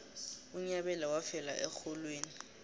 unyabela wafela erholweni